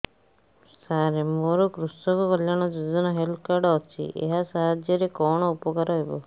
ସାର ମୋର କୃଷକ କଲ୍ୟାଣ ଯୋଜନା ହେଲ୍ଥ କାର୍ଡ ଅଛି ଏହା ସାହାଯ୍ୟ ରେ କଣ ଉପକାର ହବ